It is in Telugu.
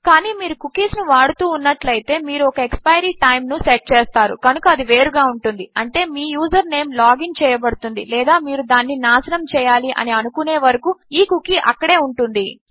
కానీ మీరు కుకీస్ ను వాడుతూ ఉన్నట్లు అయితే మీరు ఒక ఎక్స్పైరీ టైమ్ ను సెట్ చేస్తారు కనుక అది వేరుగా ఉంటుంది అంటే మీ యూజర్ నేమ్ లాగిన్ చేయబడుతుంది లేదా మీరు దానిని నాశనము చేయాలి అని అనుకునే వరకు ఈ కుకీ అక్కడే ఉంటుంది